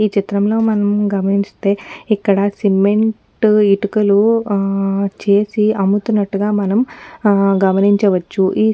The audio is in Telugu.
ఈ చిత్రంలో మనం గమనించితే ఇక్కడ సిమెంట్ ఇటుకలు చేసి అమ్ముతున్నట్లుగా మనం గమనించవచ్చుఈ సిమెంట్ --